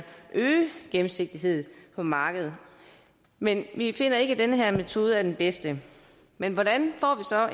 øge gennemsigtigheden på markedet men vi finder ikke at den her metode er den bedste men hvordan